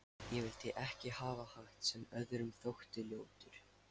Ég vildi ekki hafa hatt sem öðrum þótti ljótur.